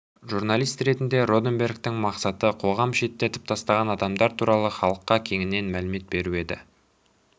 журналист ретінде роденбергтің мақсаты қоғам шеттетіп тастаған адамдар туралы халыққа кеңінен мәлімет беру еді